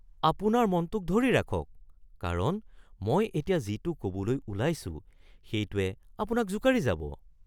আপোনাৰ মনটোক ধৰি ৰাখক, কাৰণ মই এতিয়া যিটো ক’বলৈ ওলাইছো সেইটোৱে আপোনাক জোকাৰি যাব।